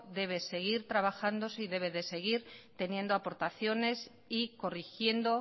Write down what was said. debe seguir trabajándose y debe de seguir teniendo aportaciones y corrigiendo